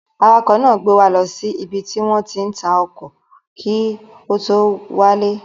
Awakọ̀ náà gbé wa lọ sí ibi tí wọ́n ti ń ta ọkọ̀ kí a tó wálé.